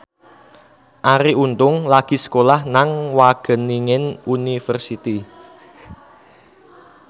Arie Untung lagi sekolah nang Wageningen University